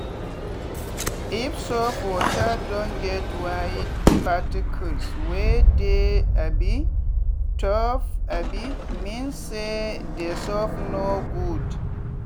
if soap water don get white particles wey dey um tope um mean say d soap no good.